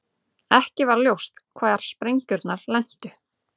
Ekki var ljóst hvar sprengjurnar lentu